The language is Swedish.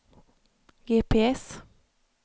GPS